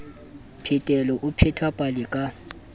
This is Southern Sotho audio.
phetelo o pheta pale ka